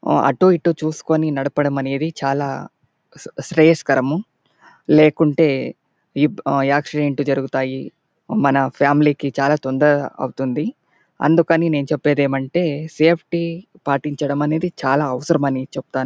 మనం అటు ఇటు చూసుకునేది నడపడం అనేది చాల శ్రేషాకారం లేకుంటే ఆక్సిడెంట్ లు జరుగుతాయి మన ఫామిలీ కి చాల తొందర అవుతుంది అందుకని నేను చెప్పేది ఏమంటే సేఫ్టీ పాటించడం అనేది చాల అవసరం అని చెప్తా.